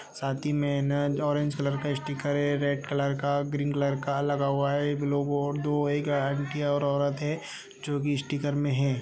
साथ ही में ऑरेंज कलर का स्टीकर है रेड कलर का ग्रीन कलर का लगा हुआ है । एक लोगो और दो एक आंटी और औरत है जो कि स्टीकर में है ।